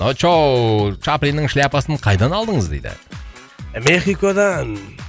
очоу чаплинның шляпасын қайдан алдыңыз дейді мекиходан